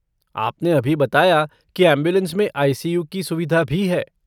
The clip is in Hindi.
आपने अभी बताया कि ऐम्बुलेन्स में आई.सी.यू. की सुविधा भी है।